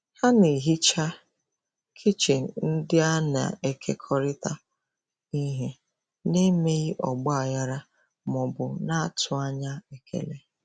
Ha na-ehicha kichin ndị a na-ekekọrịta ihe n'emeghị ọgba aghara ma ọ bụ na-atụ anya ekele.